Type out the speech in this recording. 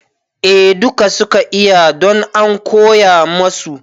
A dukka suka iya don an koya masu